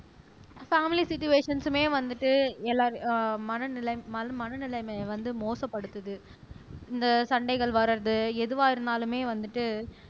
family சிட்டுவேஷன்ஸ்மே வந்துட்டு எல்லார் ஆஹ் மனநிலை மல மனநிலைமையை வந்து மோசப்படுத்துது இந்த சண்டைகள் வர்றது எதுவா இருந்தாலுமே வந்துட்டு